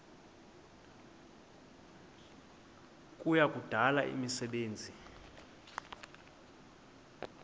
kuya kudala imisebenzi